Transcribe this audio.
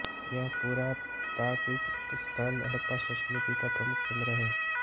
यह पुरातात्विक स्थल हडप्पा संस्कृति का प्रमुख केन्द्र था